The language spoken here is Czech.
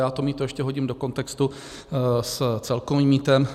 Já to mýto ještě hodím do kontextu s celkovým mýtem.